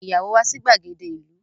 Pe ìyàwó wà sí gbàgede ìlú.